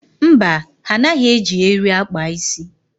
Mba, ha anaghị eji eri akpa isi.